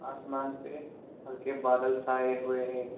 आसमान पे हल्के बादल छाए हुए हैं।